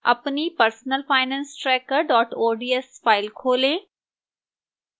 अपनी personalfinancetracker ods file खोलें